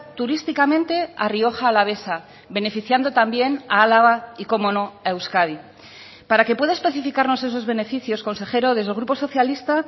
turísticamente a rioja alavesa beneficiando también a álava y como no a euskadi para que pueda especificarnos esos beneficios consejero desde el grupo socialista